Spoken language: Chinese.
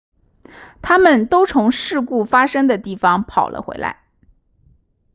他们都从事故发生的地方跑了回来